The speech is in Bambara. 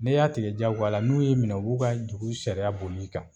N'i y'a tigɛ diyagoya a la n'u y'i minɛ u b'u ka dugu sariya boli i kan